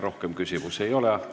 Rohkem küsimusi ei ole.